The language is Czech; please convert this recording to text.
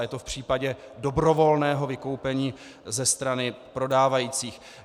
A je to v případě dobrovolného vykoupení ze strany prodávajících.